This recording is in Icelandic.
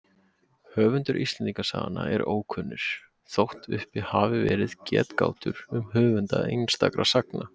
Höfundar Íslendingasagnanna eru ókunnir, þótt uppi hafi verið getgátur um höfunda einstakra sagna.